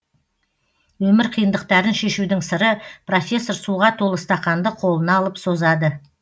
өмір қиындықтарын шешудің сыры профессор суға толы стақанды қолына алып созады